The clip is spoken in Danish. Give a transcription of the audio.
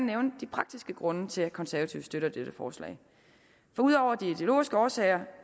nævne de praktiske grunde til at de konservative støtter dette forslag for ud over de ideologiske årsager